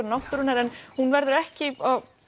náttúran en hún verður ekki